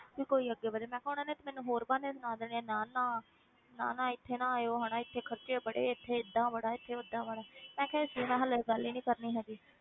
ਕਿ ਕੋਈ ਅੱਗੇ ਵਧੇ ਮੈਂ ਕਿਹਾ ਉਹਨਾਂ ਨੇ ਤੇ ਮੈਨੂੰ ਹੋਰ ਬਹਾਨੇ ਸੁਣਾ ਦੇਣੇ ਆਂ ਨਾ ਨਾ ਨਾ ਨਾ ਇੱਥੇ ਆਇਓ ਹਨਾ ਇੱਥੇ ਖ਼ਰਚੇ ਬੜੇ ਇੱਥੇ ਏਦਾਂ ਬੜਾ ਇੱਥੇ ਓਦਾਂ ਬੜਾ ਹੈ ਮੈਂ ਕਿਹਾ ਇਸ ਲਈ ਮੈਂ ਹਾਲੇ ਗੱਲ ਹੀ ਨੀ ਕਰਨੀ ਹੈਗੀ।